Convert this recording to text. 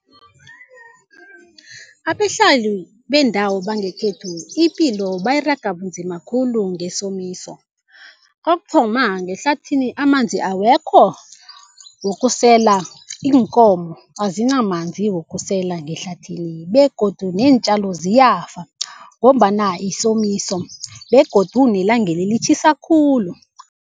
Abahlali bendawo bangekhethu ipilo bayiraga bunzima khulu ngesomiso. Kokuthoma, ngehlathini amanzi awekho wokusela, iinkomo azinamanzi wokusela ngehlathini begodu neentjalo ziyafa ngombana yisomiso begodu nelangeli litjhisa khulu.